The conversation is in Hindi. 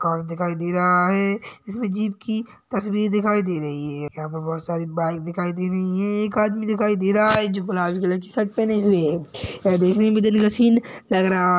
कार दिखाई दे रहा है। इसमें जीप की तस्वीर दिखाई दे रही है। यहाँ पर बहुत सारी बाइक दिखाई दे रही है और एक आदमी दिखाई दे रहा है जो गुलाबी कलर की शर्ट पहने हुए है। ये देखने में दिन का सीन लग रहा --